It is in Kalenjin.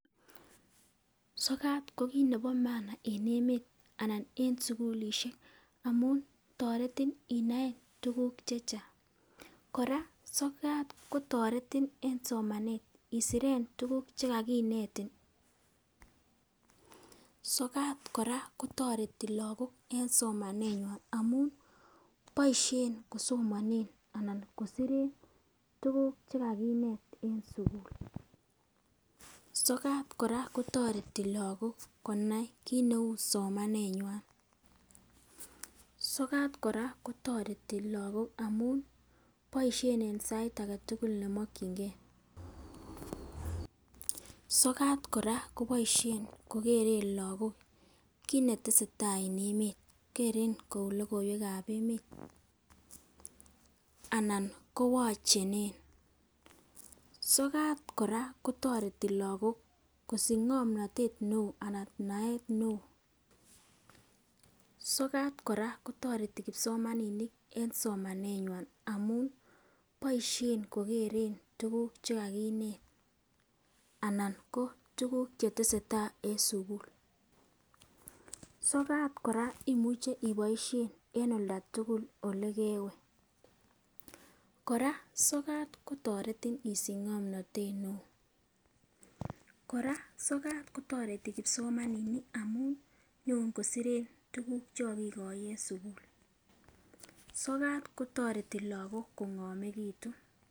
sokat ko kit nebo maana en emet anan en sukulishek amun toretin inoe tukuk chechang. koraa sokat kotoretin en somanet isiren tukuk chekakinetin, sokat koraa kotoreti lokok en somanenywan amun boishen komsomonen anan kosiren tukuk chekakinet en sukul, sokat koraa kotoreti lokok konai kit neu somanenywan. sokat koraa kotoreti lokok amun boishen en sait agetukul nemokingee. Sokat koraa koboishen kokeren lokok mkit netesetai en emet keren kou lokoiwekab emet anan kowochenen. sokat koraa kotoreti lokok kosich ngomnotet neo anan naet neo, sokat koraa kotoreti kipsomaninik en somaneywan amun boishen kokeren tukuk chekakinet anan ko tukuk chetesetai en sukul. sokat koraa imuche iboishen en oldatukul olekewe, koraa sokat kotoretin isich ngomnotet neo. Koraa sokat kotoreti kipsomaninik amun nyon kosiren tukuk chekokikoi en sukul, sokat kotoreti lokok kongomekitun.